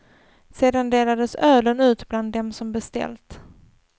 Sedan delades ölen ut bland dem som beställt.